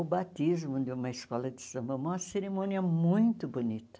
O batismo de uma escola de samba é uma cerimônia muito bonita.